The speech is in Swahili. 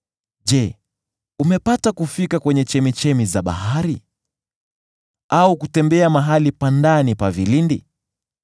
“Je, umepata kufika kwenye chemchemi za bahari? Au kutembea mahali pa ndani pa vilindi?